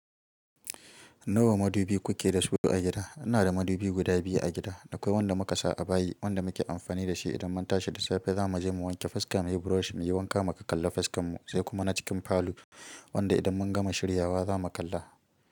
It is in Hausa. Nawa madibi kuke dasu a gida. Ina da madubi guda biyu a gida. Akwai wanda muka sa a bayi, wanda muke amfani da shi idan mun tashi da safe zamu je mu wanke fuska, muyi brush, muyi wanka mu kakkalla fuskar mu sai kuma na cikin falo wanda idan mun gama shiryawa zamu kalla.